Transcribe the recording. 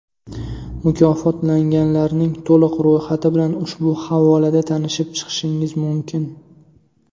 Mukofotlanganlarning to‘liq ro‘yxati bilan ushbu havolada tanishib chiqishingiz mumkin .